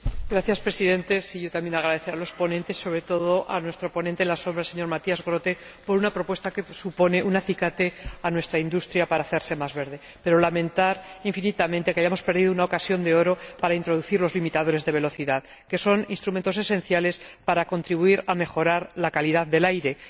Señor Presidente, quiero también agradecer a los ponentes, sobre todo a nuestro ponente alternativo, Matthias Groote, por una propuesta que supone un acicate a nuestra industria para hacerse más verde, pero lamento infinitamente que hayamos perdido una ocasión de oro para introducir los limitadores de velocidad, que son instrumentos esenciales para contribuir a la mejora de la calidad del aire.